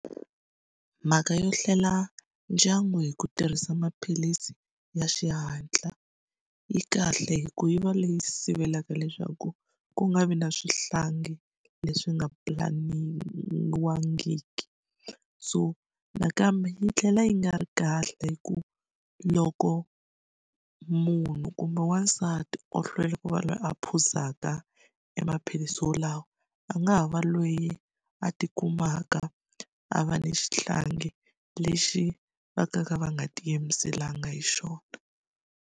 Mhaka yo hlela ndyangu hi ku tirhisa maphilisi ya xihatla, yi kahle hikuva yi va leyi sivelaka leswaku ku nga vi na swihlangi leswi nga pulaniwangiki. So nakambe yi tlhela yi nga ri kahle hikuva loko munhu kumbe wasati o hlwela ku va loyi a phuzaka emaphilisi yalawa a nga ha va loyi a tikumaka a va ni xihlangi lexi va ka nga va nga tiyimiselanga hi xona.